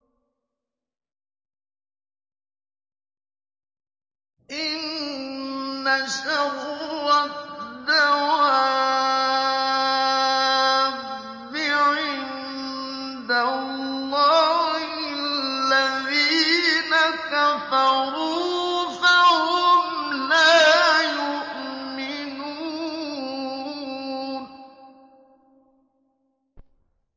إِنَّ شَرَّ الدَّوَابِّ عِندَ اللَّهِ الَّذِينَ كَفَرُوا فَهُمْ لَا يُؤْمِنُونَ